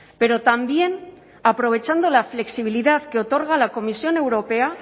pero también aprovechando la flexibilidad que otorga la comisión europea